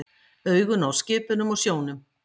Augun á skipunum og sjónum.